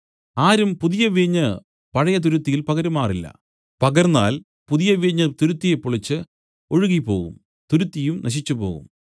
ആരും പുതിയ വീഞ്ഞ് പഴയ തുരുത്തിയിൽ പകരുമാറില്ല പകർന്നാൽ പുതിയ വീഞ്ഞ് തുരുത്തിയെ പൊളിച്ച് ഒഴുകിപ്പോകും തുരുത്തിയും നശിച്ചുപോകും